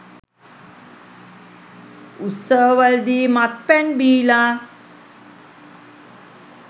උත්සවවලදී මත්පැන් බීලා